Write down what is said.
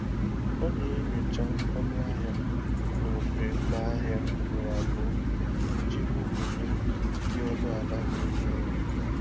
Ọ na-enyocha ọnụ ahịa n'ofe ụlọ ahịa ugboro abụọ iji hụ onyinye dị ọnụ ala na-enyo enyo.